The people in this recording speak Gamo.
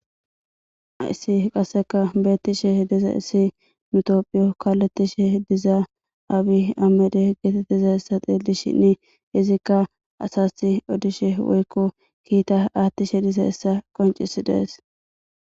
ayssi qasseka beettishe diza issi mitophiyo kalettishe dizaa abi amede geetettiza essa xeelishinni izikka asasi odishe woykko kiita aathtishe diza essa qoncis dees